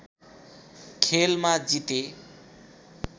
खेलमा जिते